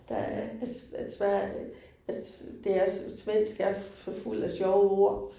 Der at at Sverige, at det er svensk er så fuld af sjove ord